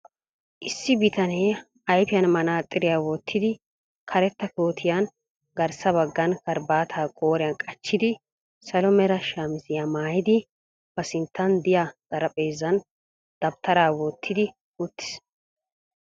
Issi bitanee, ayfiyaan manaaxxiriyaa wottidi, karetta koottiyanne garssa baggan karabataa qooriyan qachchidi. salo mera shamisiyaa maayidi, ba sinttan diyaa xaraphpheezzan dabttara wottidi uttiis.